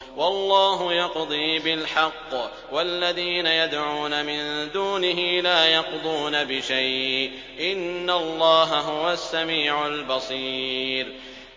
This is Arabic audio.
وَاللَّهُ يَقْضِي بِالْحَقِّ ۖ وَالَّذِينَ يَدْعُونَ مِن دُونِهِ لَا يَقْضُونَ بِشَيْءٍ ۗ إِنَّ اللَّهَ هُوَ السَّمِيعُ الْبَصِيرُ